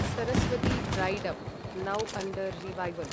Saraswati dried up, now under revival